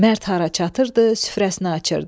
Mərd hara çatırdı, süfrəsini açırdı.